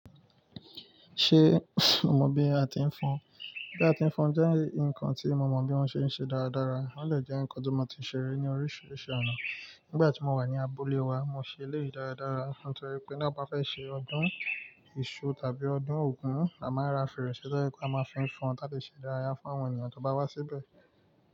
Ṣé mo mọ̀ bí a ti ń fọn? Bí a ti ń fọn jẹ́ nǹkan tí mo mọ̀ bí wọ́n ṣe ń ṣe dáradára. Ó dè jẹ́ ǹkan tó máa ń tí ṣeré ní oríṣiríṣi ọ̀nà. Nígbà tí mo wà ní abúlé wa, mo ṣe eleyìí dáradára nítorí pé bí a bá fẹ́ ṣe ọdún èṣù tàbí ọdún Ògún, a máa ń ra fèrèsé tọ̀ je pé a máa fín fọn tà le ṣe idárayá fún àwọn ènìyàn tó bá wá síbẹ̀